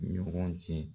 Ɲɔgɔn cɛ